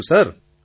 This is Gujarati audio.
પ્રધાનમંત્રી હા